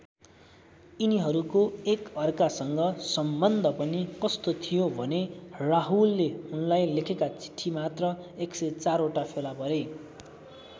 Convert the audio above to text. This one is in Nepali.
यिनीहरूको एकअर्कासँग सम्बन्ध पनि कस्तो थियो भने राहुलले उनलाई लेखेका चिठीमात्र १०४ वटा फेला परे।